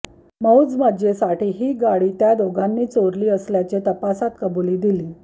मौजमजेसाठी ही गाडी त्या दोघांनी चोरली असल्याचे तपासात कबुली दिली